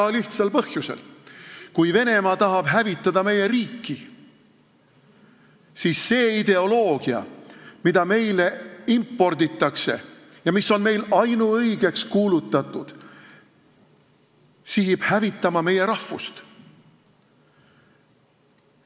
Väga lihtsal põhjusel: kui Venemaa tahab hävitada meie riiki, siis see ideoloogia, mida meile imporditakse ja mis on meil ainuõigeks kuulutatud, on sihitud hävitama meie rahvust.